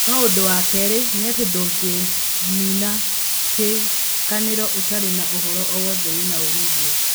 No ũndũwa kerĩ nĩ atĩ ndũngĩnĩna kĩkanĩro ũtarĩ na ũhoro o wothe wĩna umĩthio.